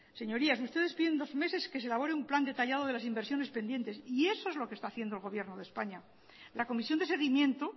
señorías ustedes piden dos meses que se elabore un plan detallado de las inversiones pendientes y eso es lo que está haciendo el gobierno de españa la comisión de seguimiento